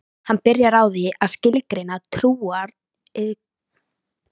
Hann byrjar á því að skilgreina trúariðkun móður sinnar